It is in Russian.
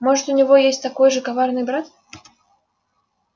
может у него есть такой же коварный брат